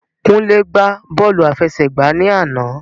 Kúnlé gbá bọ́ọ̀lù àfẹsẹ̀gbá ni àná.